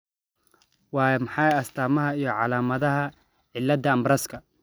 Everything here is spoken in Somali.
Waa maxay astaamaha iyo calaamadaha cillada Ambraska?